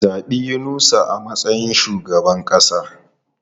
Zabi Yunusa a matsayin shugaban kasa!